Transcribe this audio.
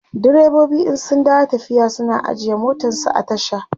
direbobi in sun dawo tafiya suna ajiye motansu a tasha